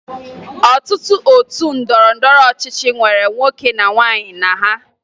Ọtụtụ otu ndọrọndọrọ ọchịchị nwere nwoke na nwaanyị na ha